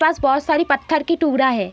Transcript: पास बोहोत सारी पत्थर की टुकड़ा हैं।